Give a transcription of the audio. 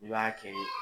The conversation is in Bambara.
I b'a kɛ